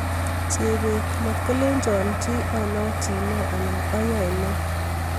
Chebet:matkolecho chi al�chne anan aai ne